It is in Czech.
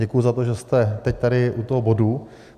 Děkuji za to, že jste teď tady u toho bodu.